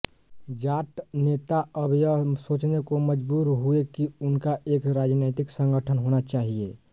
जाट नेता अब यह सोचने को मजबूर हुए की उनका एक राजनैतिक संगठन होना चाहिए